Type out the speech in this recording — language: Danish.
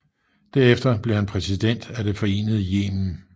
Derefter blev han præsident af det forenede Yemen